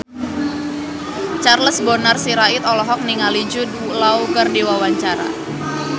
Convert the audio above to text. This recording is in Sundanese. Charles Bonar Sirait olohok ningali Jude Law keur diwawancara